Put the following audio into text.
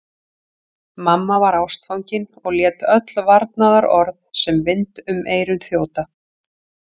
Mamma var ástfangin og lét öll varnaðarorð sem vind um eyru þjóta.